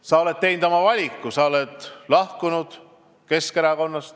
Sa oled teinud oma valiku, sa oled lahkunud Keskerakonnast.